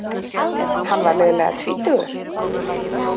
Hann var liðlega tvítugur.